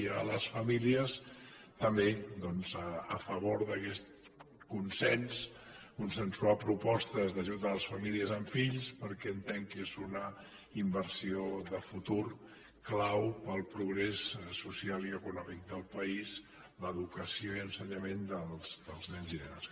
i a les famílies també doncs a favor d’aquests consens consensuar propostes d’ajut a les famílies amb fills perquè entenc que és una inversió de futur clau per al progrés social i econòmic del país l’educació i ensenyament dels nens i nenes